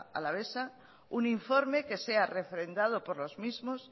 alavesa un informe que sea refrendado por los mismos